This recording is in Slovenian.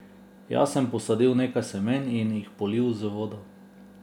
Jaz sem posadil nekaj semen in jih polil z vodo.